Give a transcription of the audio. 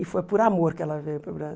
E foi por amor que ela veio para o